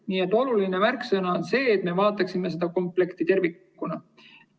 Nii et oluline märksõna on see, et me vaataksime seda komplekti tervikuna.